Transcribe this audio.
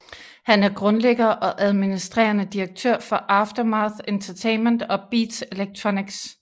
Han er grundlægger og administrerende direktør for Aftermath Entertainment og Beats Electronics